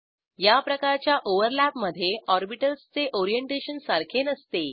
याप्रकारच्या ओव्हरलॅपमधे ऑर्बिटल्स चे ओरिएंटेशन सारखे नसते